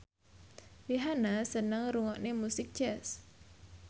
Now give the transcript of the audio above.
Rihanna seneng ngrungokne musik jazz